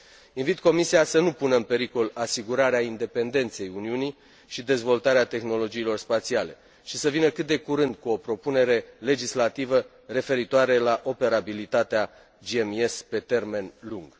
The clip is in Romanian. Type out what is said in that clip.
Invit Comisia să nu pună în pericol asigurarea independenței Uniunii și dezvoltarea tehnologiilor spațiale și să vină cât de curând cu o propunere legislativă referitoare la operabilitatea GMES pe termen lung.